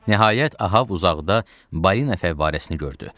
Nəhayət, Ahab uzaqda balina fəvvarəsini gördü.